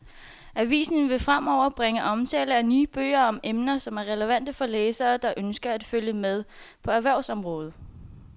Avisen vil fremover bringe omtale af nye bøger om emner, som er relevante for læsere, der ønsker at følge med på erhvervsområdet.